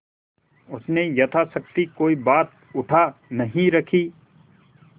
उसने यथाशक्ति कोई बात उठा नहीं रखी